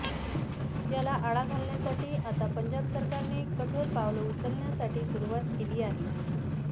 याला आळा घालण्यासाठी आता पंजाब सरकारने कठोर पावलं उचलण्यासाठी सुरूवात केली आहे